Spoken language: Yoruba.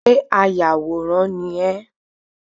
Ṣé ayàwòrán ni ẹ́?